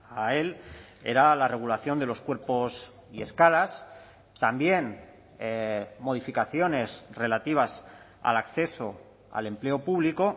a él era la regulación de los cuerpos y escalas también modificaciones relativas al acceso al empleo público